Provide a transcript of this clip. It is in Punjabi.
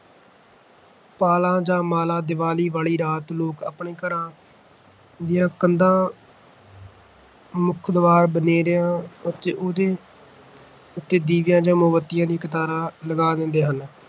ਪਾਲਾਂ ਜਾਂ ਮਾਲਾ ਦੀਵਾਲੀ ਵਾਲੀ ਰਾਤ ਲੋਕ ਆਪਣੇ ਘਰਾਂ ਦੀਆਂ ਕੰਧਾਂ, ਮੁੱਖ ਦੁਆਰ ਬਨੇਰਿਆਂ ਉੱਤੇ ਉਹਦੇ ਦੀਵੇ ਜਾਂ ਮੋਮਬੱਤੀਆਂ ਦੀਆਂ ਕਤਾਰਾਂ ਲਗਾ ਦੇਂਦੇ ਹਨ